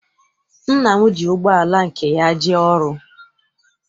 Nna m ji ụgbọala nke ya jee ọrụ.